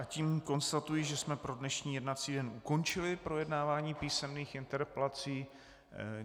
A tím konstatuji, že jsme pro dnešní jednací den ukončili projednávání písemných interpelací.